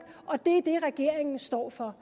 og det er det regeringen står for